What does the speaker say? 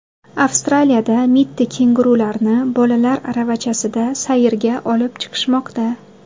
Avstraliyada mitti kengurularni bolalar aravachasida sayrga olib chiqishmoqda .